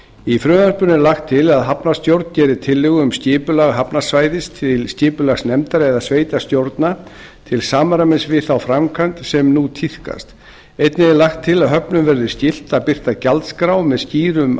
í frumvarpinu er lagt til að hafnarstjórn geri tillögu um skipulag hafnarsvæðis til skipulagsnefndar eða sveitarstjórna til samræmis við þá framkvæmd sem nú tíðkast einnig er lagt til að höfnum verði skylt að birta gjaldskrár með skýrum og